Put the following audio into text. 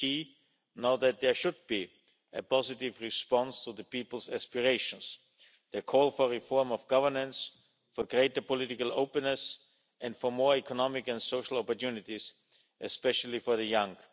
It's key now that there should be a positive response to the people's aspirations the call for reform of governance, for greater political openness and for more economic and social opportunities, especially for the young.